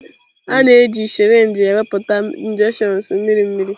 A na-eji sirinji ewepụta injections mmiri mmiri.